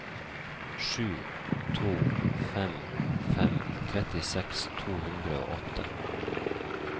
sju to fem fem trettiseks to hundre og åtte